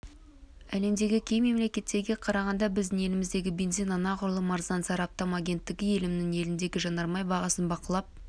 әлемдегі кей мемлекеттерге қарағанда біздің елімізде бензин анағұрлым арзан сараптама агенттігі әлемнің еліндегі жанармай бағасын бақылап